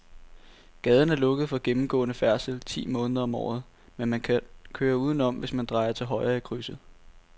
Gaden er lukket for gennemgående færdsel ti måneder om året, men man kan køre udenom, hvis man drejer til højre i krydset.